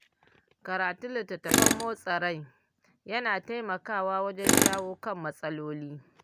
Karatun littattafan motsa rai yana taimakawa wajen shawo kan matsaloli.